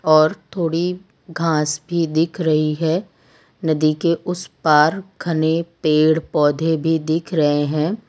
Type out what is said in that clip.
और थोड़ी घास भी दिख रही है नदी के उस पार घने पेड़ पौधे भी दिख रहे हैं।